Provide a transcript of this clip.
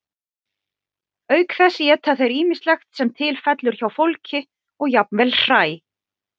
auk þess éta þeir ýmislegt sem til fellur hjá fólki og jafnvel hræ